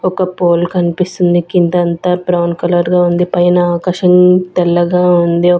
ఒక్క పోల్ కనిపిస్తుంది కిందంతా బ్రౌన్ కలర్ గా ఉంది పైన ఆకాశం తెల్లగా ఉంది.